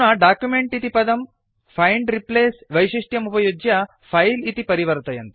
अधुना डॉक्युमेंट इति पदं फैंड् रिप्लेस् वैशिष्ट्यमुपयुज्य फिले इति परिवर्तयन्तु